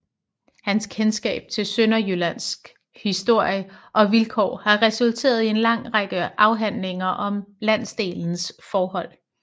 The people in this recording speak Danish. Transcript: Hans kendskab til Sønderjyllands historie og vilkår har resulteret i en lang række afhandlinger om landsdelens forhold